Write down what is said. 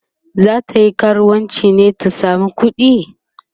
zatayi karuwanci ne ta samo kuɗi?